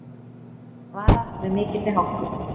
Varað við mikilli hálku